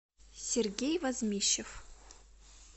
сергей возмищев